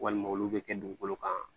Walima olu bɛ kɛ dugukolo kan